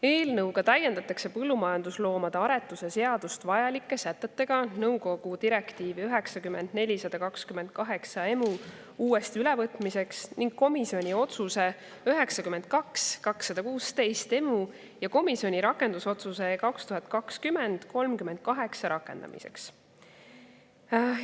Eelnõu kohaselt täiendatakse põllumajandusloomade aretuse seadust vajalike sätetega nõukogu direktiivi 90/428/EMÜ uuesti ülevõtmiseks ning komisjoni otsuse 92/216/EMÜ ja komisjoni rakendusotsuse 2020/ rakendamiseks.